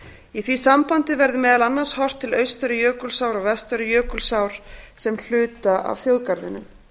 í því sambandi verði meðal annars horft til austari jökulsár og vestari jökulsár sem hluta af þjóðgarðinum